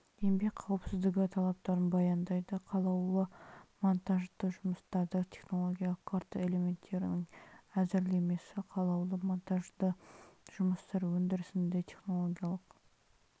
еңбек қауіпсіздігі талаптарын баяндайды қалаулы монтажды жұмыстарда технологиялық карта элементтерінің әзірлемесі қалаулы монтажды жұмыстар өндірісінде технологиялық